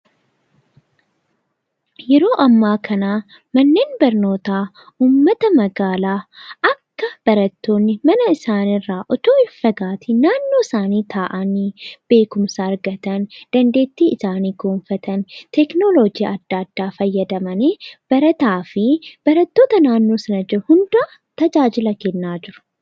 Yeroo ammaa kana manneen barnootaa uummata magaalaa akka barattoonni mana isaanii irraa osoo hin fagaatiin naannoo isaanii taa'anii beekkumsa argatan, dandeettii isaanii gabbifatan tekinoloojii adda addaa fayyadamanii barataa fi barattoota naannoo sana jiraniif tajaajila kennaa jiru.